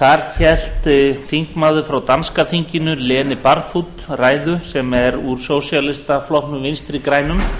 þar hélt þingmaður frá danska þinginu lene barfod ræðu sem er úr sósíalistaflokknum vinstri grænum